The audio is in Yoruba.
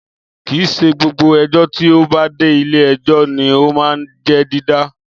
Kìí ṣe gbogbo ẹjọ́ tí ó bá dé ilé ẹjọ́ ní o máa ń jẹ́ dídá